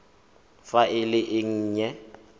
fa e le e nnye